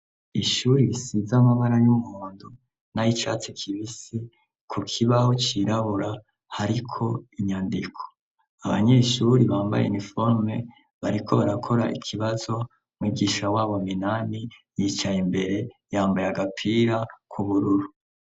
Ishuri risize amabara y'umuhondo n'ayicatsi kibisi ku kibaho cirabura hariko inyandiko abanyeshuri bambaye niforume bariko barakora ikibazo mwigisha wabo Minani yicaye imbere yambaye agapira kubururu.